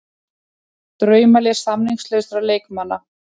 Draumalið samningslausra leikmanna